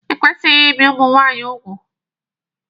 E kwesịghị ibi ụmụ nwaanyị úgwù.